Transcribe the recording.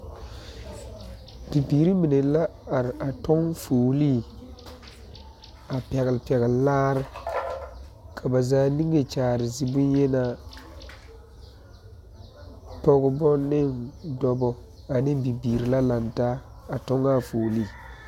Bibiiri mine la are a tɔŋ foolee a pɛgepɛgle laare ka ba zaa niŋe kyaare zi bonyenaa pɔgebɔ ne dɔbɔ ane bibiiri la lantaa a tɔŋ a foolee.